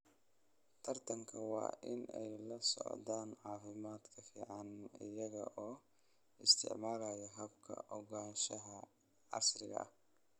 Taranka waa in ay la socdaan caafimaadka finan iyaga oo isticmaalaya hababka ogaanshaha casriga ah.